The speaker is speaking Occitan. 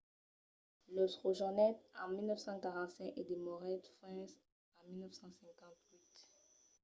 los rejonhèt en 1945 e demorèt fins a 1958